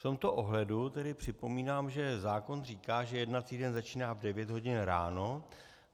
V tomto ohledu tedy připomínám, že zákon říká, že jednací den začíná v 9 hodin ráno.